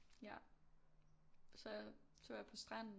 Ja så så var jeg på stranden